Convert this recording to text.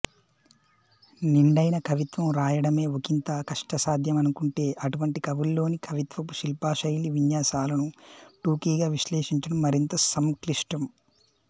నిండైన కవిత్వం రాయడమే ఒకింత కష్టసాధ్యమనుకుంటే అటువంటి కవుల్లోని కవిత్వపు శిల్పశైలీ విన్యాసాలను టూకీగా విశ్లేషించడం మరింత సంక్లిష్టం